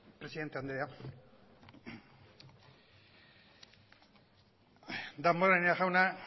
presidente andrea damborenea jauna